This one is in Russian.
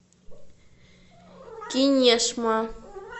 кинешма